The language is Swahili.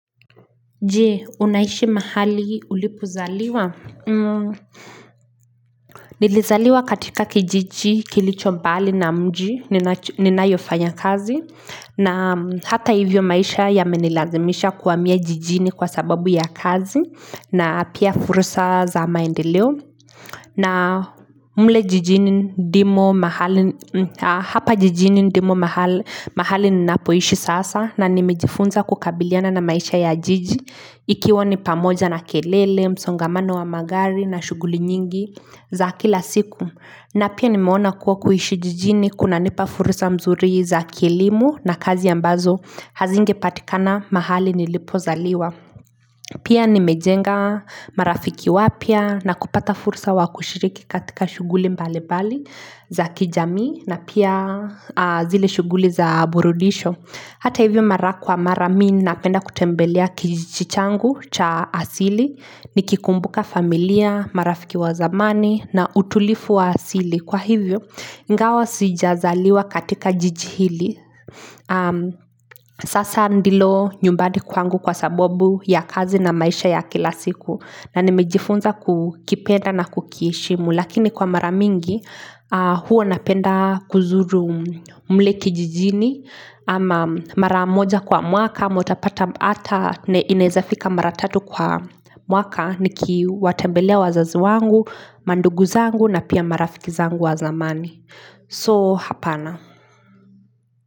Jee unaishi mahali ulipo zaliwa? Nilizaliwa katika kijiji kilicho mbali na mji ninayofanya kazi na hata hivyo maisha ya menilazimisha kuwamia jijini kwa sababu ya kazi na pia furusa za maendeleo na mle jijini ndimo mahali Hapa jijini ndimo mahali ninapoishi sasa na nimejifunza kukabiliana na maisha ya jiji ikiwa nipamoja na kelele, msongamano wa magari na shuguli nyingi za kila siku na pia nimeona kuwa kuhishi jijini kuna nipa furusa mzuri za kielimu na kazi ambazo hazinge patikana mahali nilipo zaliwa pia nimejenga marafiki wapya na kupata furusa wakushiriki katika shuguli mbalimbali za kijamii na pia zile shuguli za burudisho Hata hivyo mara kwa mara mii napenda kutembelea kijijichi changu cha asili Nikikumbuka familia, marafiki wa zamani na utulifu wa asili Kwa hivyo, ngawa sijazaliwa katika jiji hili Sasa ndilo nyumbadi kwangu kwa sabobu ya kazi na maisha ya kila siku na nimejifunza kukipenda na kukieshimu Lakini kwa mara mingi, huo napenda kuzuru mle kijijini Ama maramoja kwa mwaka, motapata ata inezafika maratatu kwa mwaka Niki watembelea wazaz wangu, manduguzangu na pia marafikizangu wa zamani So, hapana.